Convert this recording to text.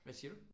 Hvad siger du?